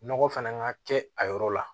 Nɔgɔ fana ka kɛ a yɔrɔ la